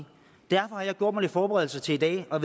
derfor har jeg gjort mig nogle forberedelser til i dag og